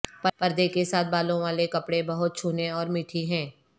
پردہ کے ساتھ بالوں والے کپڑے بہت چھونے اور میٹھی ہیں